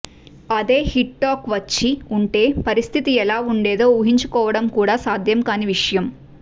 అదే hit talk వచ్చి ఉంటే పరిస్థితి ఎలా ఉండేదో ఊహించుకోవడం కూడా సాధ్యం కాని విషయం